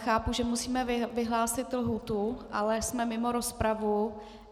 Chápu, že musíme vyhlásit lhůtu, ale jsme mimo rozpravu.